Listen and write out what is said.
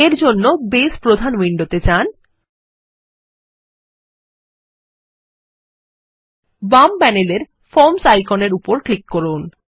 এরজন্য বেজ প্রধান উইন্ডোতে যান বাম প্যানেলের ফর্মস আইকনের উপরক্লিক করুন